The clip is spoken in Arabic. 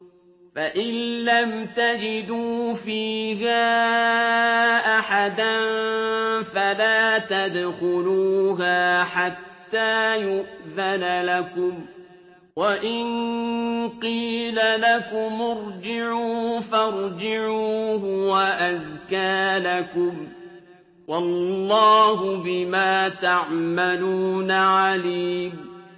فَإِن لَّمْ تَجِدُوا فِيهَا أَحَدًا فَلَا تَدْخُلُوهَا حَتَّىٰ يُؤْذَنَ لَكُمْ ۖ وَإِن قِيلَ لَكُمُ ارْجِعُوا فَارْجِعُوا ۖ هُوَ أَزْكَىٰ لَكُمْ ۚ وَاللَّهُ بِمَا تَعْمَلُونَ عَلِيمٌ